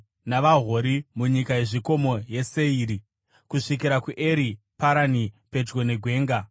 navaHori munyika yezvikomo yeSeiri, kusvikira kuEri Parani pedyo negwenga.